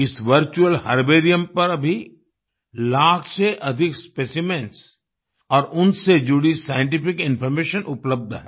इस virtual herbarium पर अभी लाख से अधिक स्पेसिमेंस और उनसे जुड़ी साइंटिफिक इन्फॉर्मेशन उपलब्ध है